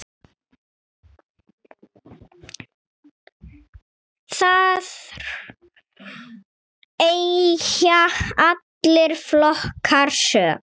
Þar eiga allir flokkar sök.